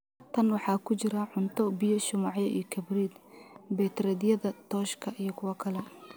Tan waxaa ku jira: cunto, biyo, shumacyo iyo kabriid, baytariyada tooshka iyo kuwo kale.